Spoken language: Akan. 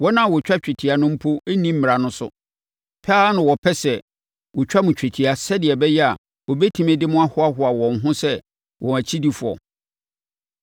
Wɔn a wɔtwa twetia no mpo nni Mmara no so. Pɛ ara na wɔpɛ sɛ wɔtwa mo twetia sɛdeɛ ɛbɛyɛ a wɔbɛtumi de mo ahoahoa wɔn ho sɛ wɔn akyidifoɔ.